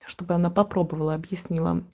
чтобы она попробовала объясни